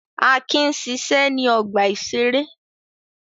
Akin ń ṣiṣẹ́ ní ọgbà-ìṣeré.